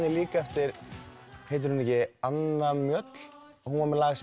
líka eftir heitir hún ekki Anna Mjöll hún var með lag sem